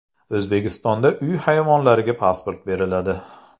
O‘zbekistonda uy hayvonlariga pasport beriladi.